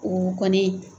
O kɔni